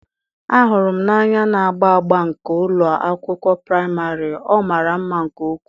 a hụrụ m n'anya na agba agba nke ụlọ akwụkwọ praịmarị, ọ mara mma nke ukwuu.